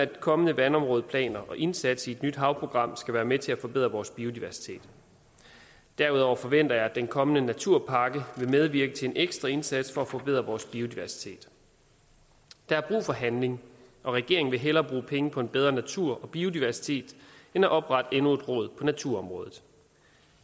kommende vandområdeplaner og indsatsen i et nyt havprogram skal være med til at forbedre vores biodiversitet derudover forventer jeg at den kommende naturpakke vil medvirke til en ekstra indsats for at forbedre vores biodiversitet der er brug for handling og regeringen vil hellere bruge penge på en bedre natur og biodiversitet end at oprette endnu et råd på naturområdet